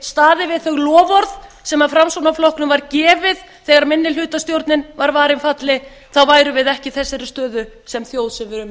við þau loforð sem framsóknarflokknum var gefið þegar minnihlutastjórnin var varin falli þá værum við ekki í þessari stöðu sem þjóð sem við erum í